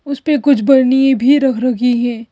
उस पे कुछ बर्नी भी रख रखी हैं।